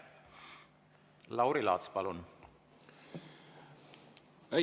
Lauri Laats, palun!